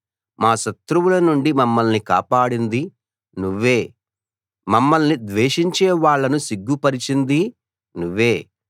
మా శత్రువుల నుండి మమ్మల్ని కాపాడింది నువ్వే మమ్మల్ని ద్వేషించే వాళ్ళను సిగ్గుపరిచిందీ నువ్వే